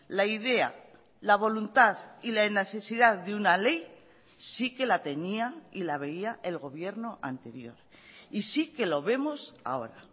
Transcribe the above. la idea la voluntad y la necesidad de una ley sí que la tenía y la veía el gobierno anterior y sí que lo vemos ahora